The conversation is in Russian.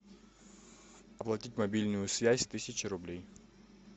оплатить мобильную связь тысяча рублей